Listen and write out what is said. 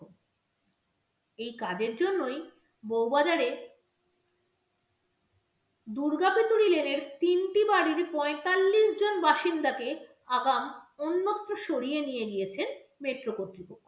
এই কাজের জন্যই বউবাজারে দুর্গা পিতুরি lane এর তিনটি বাড়ির পঁয়তাল্লিশ জন বাসিন্দাকে আগাম অন্যত্র সরিয়ে নিয়ে গিয়েছেন metro কর্তৃপক্ষ।